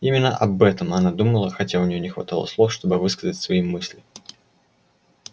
именно об этом она думала хотя у нее не хватало слов чтобы высказать свои мысли